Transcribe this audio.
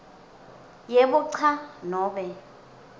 yebo cha nobe